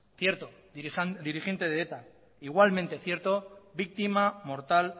cierto dirigente de eta igualmente cierto víctima mortal